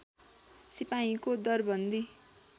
सिपाहीको दरबन्दी